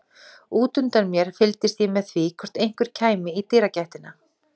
Útundan mér fylgdist ég með því hvort einhver kæmi í dyragættina.